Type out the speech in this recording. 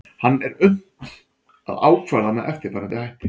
hann er unnt að ákvarða með eftirfarandi hætti